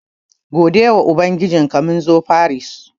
Godewa ubangijinka, mun zo Faris.